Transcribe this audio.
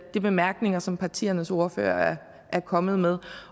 de bemærkninger som partiernes ordførere er kommet med